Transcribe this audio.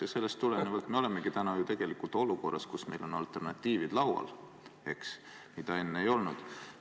Ja sellest tulenevalt me olemegi täna ju tegelikult olukorras, kus meil on laual alternatiivid, mida enne ei olnud.